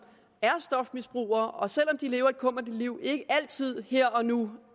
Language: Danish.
er stofmisbrugere og som selv om de lever et kummerligt liv ikke altid her og nu